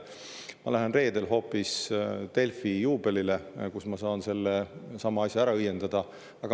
Ma lähen reedel hoopis Delfi juubelile, kus ma saan selle asja ära õiendada.